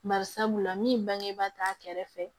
Bari sabula min bangebaa t'a kɛrɛfɛ